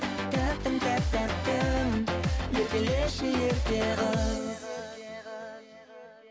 тәттім тәп тәттім еркелеші ерке қыз